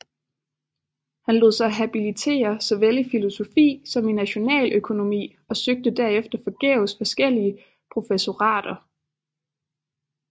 Han lod sig habilitere såvel i filosofi som i nationaløkonomi og søgte derefter forgæves forskellige professorater